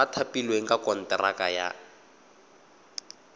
ba thapilweng ka konteraka ba